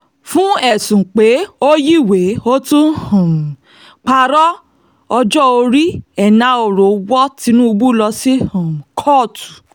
fún ẹ̀sùn pé ó yiwèé ó tún um parọ́ ọjọ́ orí enahoro wọ tinubu lọ sí um kóòtù